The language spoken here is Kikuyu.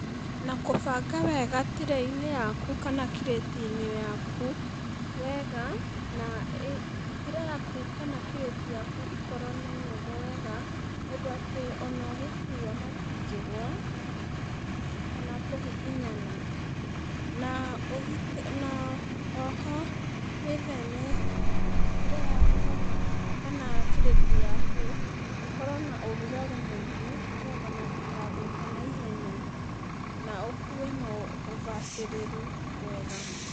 Na kũbanga wega tirĩ-inĩ yaku, kana kirĩti-inĩ yaku wega na ĩ tirĩ yaku kana kirĩti yaku ĩkorwo nĩ nene wega undũ atĩ ona ũngĩkua matingĩgũa, kana kũhihinyana, na ũhi, na oho, wĩtheme tirĩ yaku, kana kana kirĩti yaku ĩkorwo na ũrugarĩ mũingĩ nĩgetha matikathũke naihenya na ũkue na ũbacĩrĩru mwega.